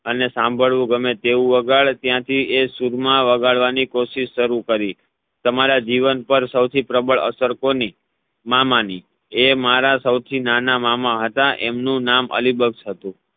અને સાંભળવું ગમે તેવું વાગડ ત્યાંથી એ સૂરમાં વગાડવાની કોશિશ શરુ કરી તમારા જીવન પાર સૌથી પ્રબળ અસર કોની? મામાની એ મારા સૌથી નાના મામા હતા એમનું નામ અલિબક્ષ હતુ